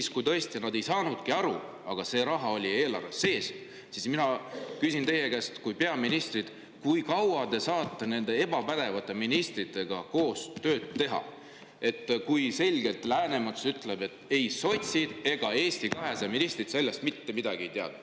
Või kui tõesti nad ei saanudki aru, aga see raha oli eelarves sees, siis mina küsin teie kui peaministri käest, kui kaua te saate nende ebapädevate ministritega koos tööd teha, kui Läänemets selgelt ütleb, et ei sotsid ega Eesti 200 ministrid sellest mitte midagi ei teadnud.